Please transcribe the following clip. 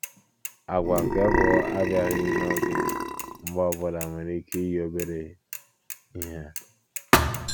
Àgwà nke bụ abịaghị n'oge mgbe ọ bụla nwere ike iyi obere ihe.